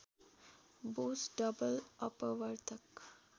Bose double अपवर्तक